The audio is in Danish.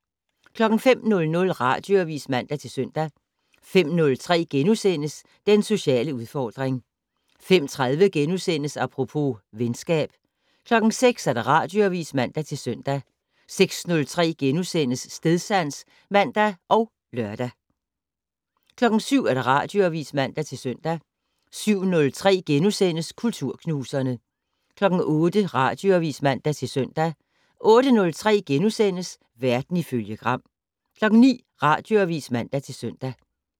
05:00: Radioavis (man-søn) 05:03: Den sociale udfordring * 05:30: Apropos - venskab * 06:00: Radioavis (man-søn) 06:03: Stedsans *(man og lør) 07:00: Radioavis (man-søn) 07:03: Kulturknuserne * 08:00: Radioavis (man-søn) 08:03: Verden ifølge Gram * 09:00: Radioavis (man-søn)